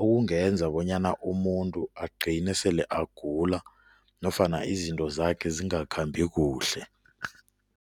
okungenza bonyana umuntu agcine sele agula nofana izinto zakhe zingakhambi kuhle.